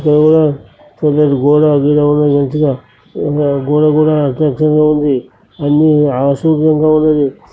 ఇక్కడ కూడా పెద్దది గోడగీడా ఉన్నది మంచిగా గోడ గూడ ఉంది అన్ని అశుభంగా ఉన్నది.